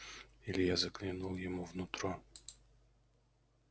илья заглянул ему в нутро